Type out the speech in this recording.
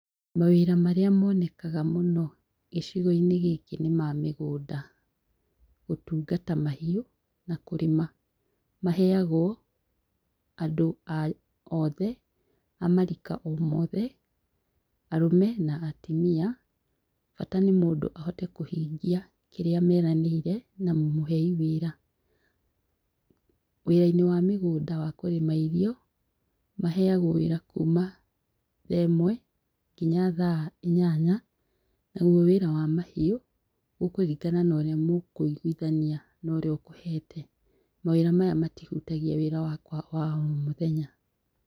Mawĩra marĩa monekaga mũno gĩcigo-inĩ gĩkĩ nĩma mĩgũnda, gũtungata mahiũ na kũrĩma maheagwo andũ othe a marika o mothe, arũme na atumia, bata nĩ mũndũ ahote kũhingia kĩrĩa meranĩire na mũmũhei wĩra. Wĩra-inĩ wa mũgũnda wakũrĩma irio, maheagwo wĩra kuma thaa ĩmwe , nginya thaa inyanya . Naguo wĩra wa mahiũ, gũkũrngana na ũrĩa mũkũiguithania na ũrĩa ũkũhete. Mawĩra maya matihutagia wĩra wakwa wa o mũthenya.